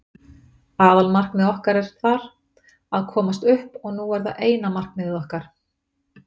Aðalmarkmiðið okkar er þar, að komast upp og nú er það bara eina markmiðið okkar.